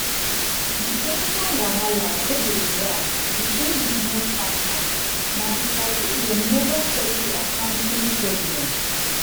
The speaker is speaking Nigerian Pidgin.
the ten sion wahala wey dey drag between business partners na because sey dem never settle accounting problem.